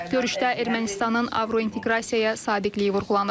Görüşdə Ermənistanın Avrointeqrasiyaya sadiqliyi vurğulanıb.